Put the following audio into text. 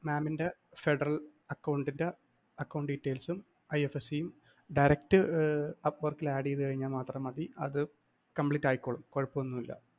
mam ന്റെ Federal‍ account ന്റെ accountdetails ഉം IFSC യും direct apport ല്‍ add ചെയ്‌താല്‍ മാത്രം മതി അത് complete ആയിക്കൊള്ളും കുഴപ്പമൊന്നുമില്ല.